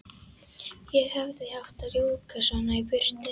Ég hefði ekki átt að rjúka svona í burtu.